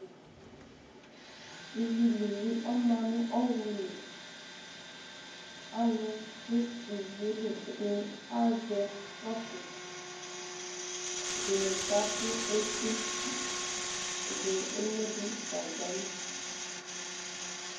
Ivilili ɔma ɲu ɔwluli Alu du ivieli Ɛdiɲi azɛ sɔƒie Ɛdiɲi kakʊ eti Ediɲi eɲodʊɲʊ gagbali